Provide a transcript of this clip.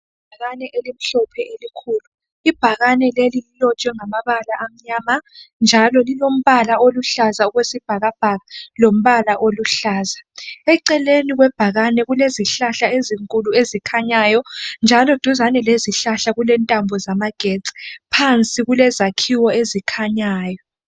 Ibhakane elimhlophe elikhulu Ibhakane leli lilotshwe ngamabala amnyama njalo lilombala oluhlaza okwesibhakabhaka lombala oluhlaza eceleni kwebhakane kule zihlahla ezinkulu ezikhanyayo njalo duzane lezihlahla kulentambo zamagetsi phansi kulezakhiwo ezikhanyayo.